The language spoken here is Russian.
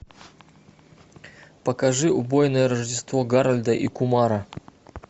покажи убойное рождество гарольда и кумара